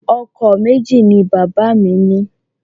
Ọkọ̀ méjì ni bàbá mi ní.